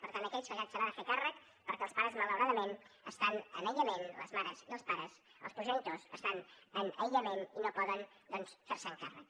per tant aquells que la generalitat se n’han de fer càrrec perquè els pares malauradament estan en aïllament les mares i els pares els progenitors estan en aïllament i no poden doncs fer se’n càrrec